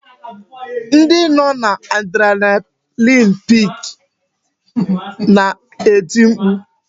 Ndị nọ n'adrenalin pik na-eti mkpu